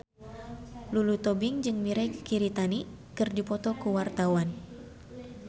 Lulu Tobing jeung Mirei Kiritani keur dipoto ku wartawan